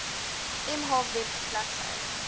mh web bladsy